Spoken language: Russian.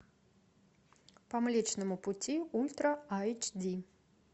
по млечному пути ультра айч ди